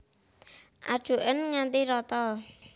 Adhuken nganti rata